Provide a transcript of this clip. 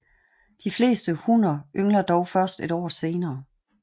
De fleste hunner yngler dog først et år senere